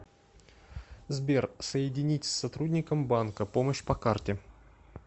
сбер соединить с сотрудником банка помощь по карте